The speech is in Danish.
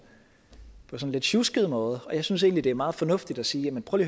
lidt sjusket måde og jeg synes egentlig det er meget fornuftigt at sige prøv